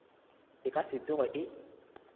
e ka se tsoge e